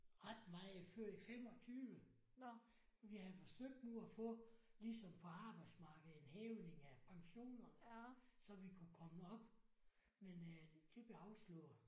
Ret meget før i 25. Vi havde forsøgt nu at få ligesom på arbejdsmarkedet en hævning af pensionerne så vi kunne komme op men øh det blev afslået